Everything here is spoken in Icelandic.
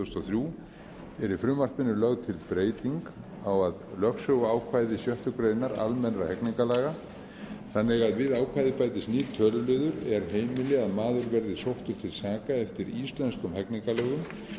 þúsund og þrjú er í frumvarpinu lögð til breyting á að lögsöguákvæði sjöttu grein almennra hegningarlaga þannig að við ákvæðið bætist nýr töluliður er heimili að maður verði sóttur til saka eftir íslenskum hegningarlögum